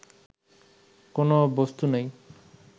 কোন বস্তু নাই